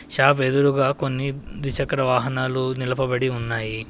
Shop ఎదురుగా కొన్ని ద్విచక్ర వాహనాలు నిలపబడి ఉన్నాయి.